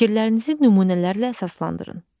Fikirlərinizi nümunələrlə əsaslandırın.